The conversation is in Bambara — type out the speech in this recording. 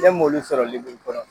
Ne m'olu sɔrɔ liburu kɔrɔ!